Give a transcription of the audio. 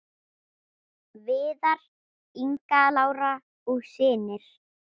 Viðar, Inga Lára og synir.